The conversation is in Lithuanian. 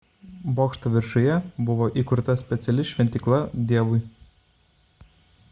bokšto viršuje buvo įkurta speciali šventykla dievui